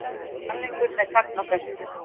Sannleikurinn er sagna bestur.